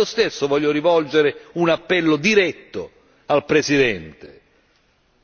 Ma io stesso voglio rivolgere un appello diretto al Presidente